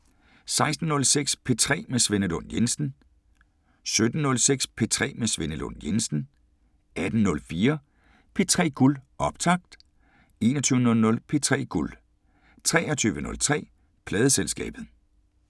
16:06: P3 med Svenne Lund Jensen 17:06: P3 med Svenne Lund Jensen 18:04: P3 Guld – optakt 21:00: P3 Guld 23:03: Pladeselskabet